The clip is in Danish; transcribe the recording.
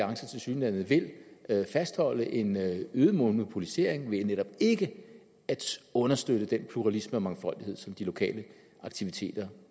vil tilsyneladende fastholde en øget monopolisering ved netop ikke at understøtte den pluralisme og mangfoldighed som de lokale aktiviteter